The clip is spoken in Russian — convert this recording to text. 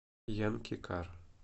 янкикар